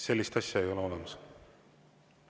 Sellist asja ei ole olemas.